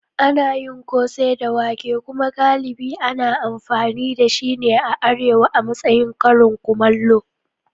Ana yin kose da wake kuma galibi ana amfani da shi a Arewa a matsayin karin kumallo.